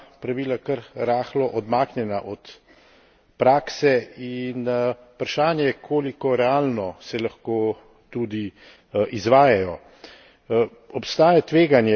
Včasih se zdi, da so ta pravila kar rahlo odmaknjena od prakse, in vprašanje, koliko realno se lahko tudi izvajajo.